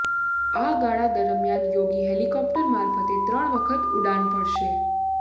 આ ગાળા દરમિયાન યોગી હેલિકોપ્ટર મારફતે ત્રણ વખત ઉડાણ ભરશે